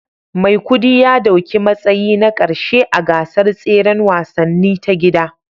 Maikudi ya dauki matsayi na karshe a gasar tseren wasanni ta gida